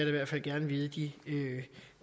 i hvert fald gerne vide i de